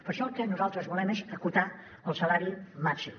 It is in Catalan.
per això el que nosaltres volem és acotar el salari màxim